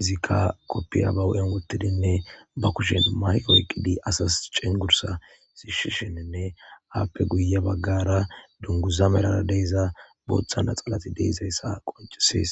izikka koppiya bawu7en wottidinne ba kushen mayqoyqqidi asas cengursa siishshishininne aappe guye baggara dunguza melara deyza booththana xalati deezayssa qoncisees